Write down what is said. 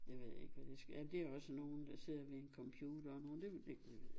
Jeg ved ikke hvad det skal ja det er også nogen der sidder ved en computer og nogen det ved jeg ikke